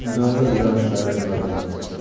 да да да шаришь братан